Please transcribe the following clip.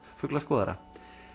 fuglaskoðara